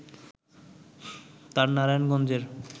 তার নারায়ণগঞ্জের